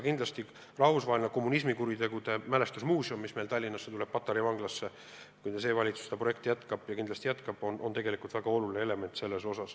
Rahvusvaheline kommunismiohvrite mälestusmuuseum, mis rajatakse Tallinna Patarei vanglasse – juhul kui valitsus seda projekti jätkab ja kindlasti jätkab –, on siinkohal tegelikult väga oluline element.